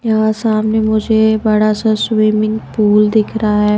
यहां सामने मुझे बड़ा सा स्विमिंग पूल दिख रहा है।